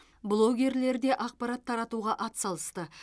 блогерлер де ақпарат таратуға атсалысты